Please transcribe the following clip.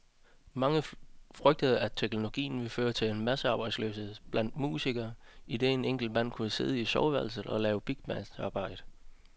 Mange frygtede, at teknologien ville føre til massearbejdsløshed blandt musikere, idet en enkelt mand kunne sidde i soveværelset og lave et bigbands arbejde.